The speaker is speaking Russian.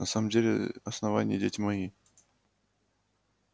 на самом деле основание дети мои